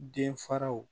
Den faraw